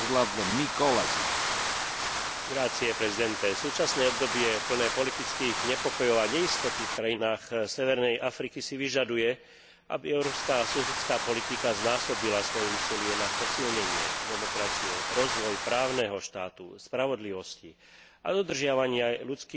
Súčasné obdobie plné politických nepokojov a neistoty v krajinách severnej Afriky si vyžaduje, aby Európska susedská politika znásobila svoje úsilie na posilnenie demokracie, rozvoj právneho štátu, spravodlivosti a dodržiavania ľudských práv vrátane práv menšín a slobody vierovyznania.